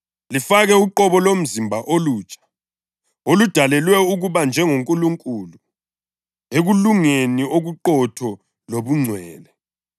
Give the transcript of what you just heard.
lifake uqobo lomzimba olutsha, oludalelwe ukuba njengoNkulunkulu ekulungeni okuqotho lobungcwele.